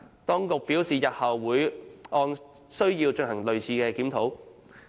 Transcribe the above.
當局表示日後會按需要進行類似檢討。